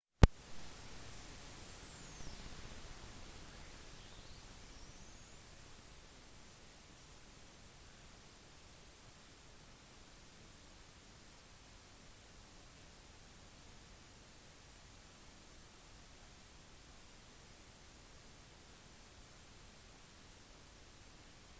helt siden 1970-tallet har il-76 vært en hovedkomponent i både det russiske og sovjetiske militæret og var allerede med i en alvorlig ulykke i russland forrige måned